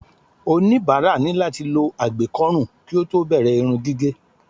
oníbàárà ni láti lo àgbékó̩rùn kí ó tó bẹ̀rẹ̀ Irun gígé